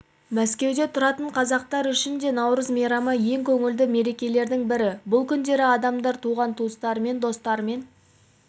мәскеуде тұратын қазақтар үшін де наурыз мейрамы ең көңілді мерекелердің бірі бұл күндері адамдар туған-туыстарымен достарымен